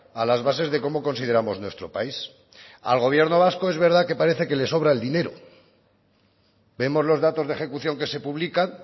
a las bases de cómo consideramos nuestro país al gobierno vasco es verdad que parece que le sobra el dinero vemos los datos de ejecución que se publican